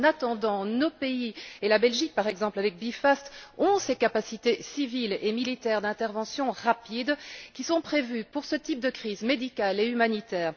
En attendant, nos pays et la Belgique, par exemple, avec B FAST ont ces capacités civiles et militaires d'intervention rapide qui sont prévues pour ce type de crise médicale et humanitaire.